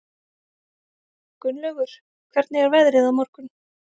Gunnlaugur, hvernig er veðrið á morgun?